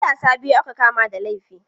Matasa biyu aka kama da laifi.